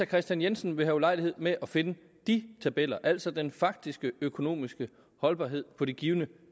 kristian jensen vil have ulejlighed med at finde de tabeller altså den faktiske økonomiske holdbarhed på de givne